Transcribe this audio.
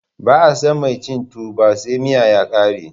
Ba'a San mai cin tuwo ba sai miya ya kare.